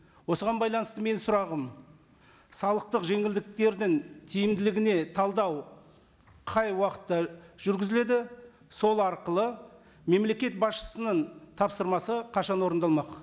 осыған байланысты менің сұрағым салықтық жеңілдіктердің тиімділігіне талдау қай уақытта жүргізіледі сол арқылы мемлекет басшысының тапсырмасы қашан орындалмақ